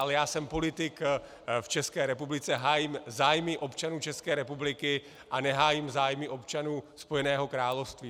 Ale já jsem politik v České republice, hájím zájmy občanů České republiky a nehájím zájmy občanů Spojeného království.